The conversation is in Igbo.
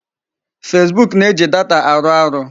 Facebook na-eji data arụ arụ.